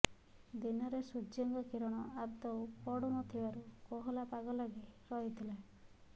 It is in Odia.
ଦିନରେ ସୂର୍ଯ୍ୟଙ୍କ କିରଣ ଆଦୌ ପଡ଼ୁ ନଥିବାରୁ କୋହଲା ପାଗ ଲାଗି ରହିଥିଲା